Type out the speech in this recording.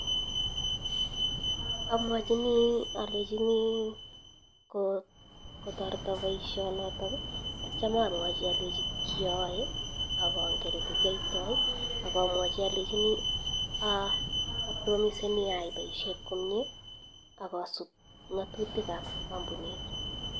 Amwachinii alechinii kotareta paisho notok atya alechii kiyoae akangen olekiaitai akamwachii alechinii apromisenii aaii paishet komie akasup ngatutik ab kampunit